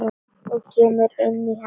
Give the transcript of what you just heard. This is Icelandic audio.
Og kemur inn í hana.